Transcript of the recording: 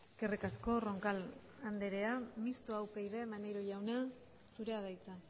eskerrik asko roncal andrea mistoa upyd maneiro jauna zurea da hitza